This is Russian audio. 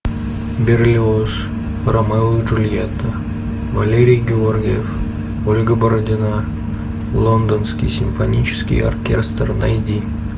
берлиоз ромео и джульетта валерий георгиев ольга бородина лондонский симфонический оркестр найди